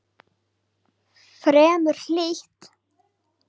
Fremur hlýtt.